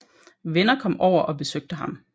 Venner kom over og besøgte ham